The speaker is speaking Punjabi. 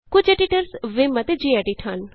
ਕੁਝ ਐਡੀਟਰਜ਼ ਵਿਮ ਅਤੇ ਜੀਐਡਿਟ ਹਨ